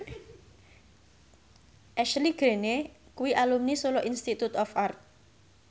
Ashley Greene kuwi alumni Solo Institute of Art